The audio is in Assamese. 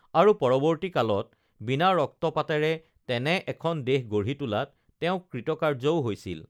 আৰু পৰৱৰ্ত্তী কালত বিনা ৰক্তপাতেৰে তেনে এখন দেশ গঢ়ি তোলাত তেওঁ কৃতকাৰ্য্যও হৈছিল